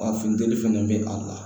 Wa funteni fɛnɛ bɛ a la